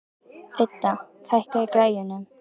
Idda, hækkaðu í græjunum.